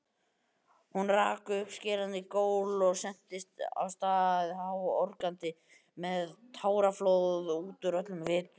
Hún rak upp skerandi gól og sentist af stað háorgandi með táraflóð útúr öllum vitum.